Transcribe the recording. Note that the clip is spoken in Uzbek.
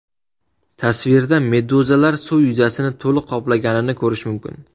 Tasvirda meduzalar suv yuzasini to‘liq qoplaganini ko‘rish mumkin.